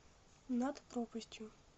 над пропастью